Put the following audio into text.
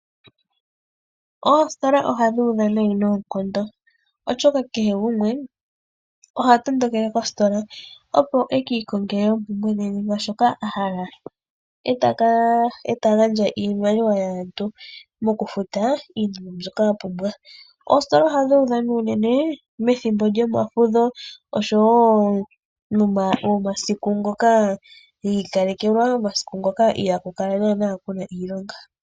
Oositola ohadhi udha noonkondo, oshoka kehe gumwe oha tondokele kositola, opo e ki ikongele oompumbwe dhe nenge shoka a hala, e ta gandja iimaliwa yaantu mokufuta iinima mbyoka a pumbwa. Oositola ohadhi udha unene methimbo lyomafudho, oshowo omasiku ngoka gi ikalekelwa, omasiku ngoka ihaaku kala ku na iilonga.